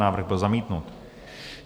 Návrh byl zamítnut.